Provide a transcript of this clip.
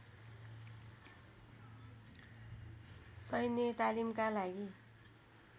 शैन्य तालिमका लागि